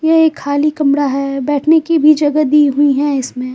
ये एक खाली कमरा है बैठने की भी जगह दी हुई है इसमें।